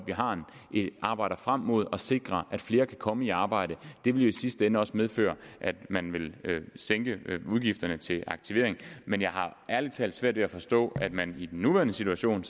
vi arbejder frem mod at sikre at flere kan komme i arbejde og det vil jo i sidste ende også medføre at man vil sænke udgifterne til aktivering men jeg har ærlig talt svært ved at forstå at man i den nuværende situation